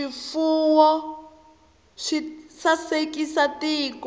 swifuwo swi sasekisa tiko